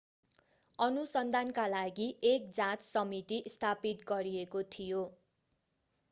अनुसन्धानका लागि एक जाँच समिति स्थापित गरिएको थियो